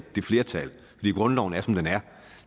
det flertal fordi grundloven er som den er